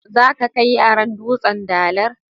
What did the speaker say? Zaka kaai yaran "dutsen dalar"?